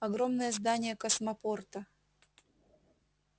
огромное здание космопорта